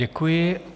Děkuji.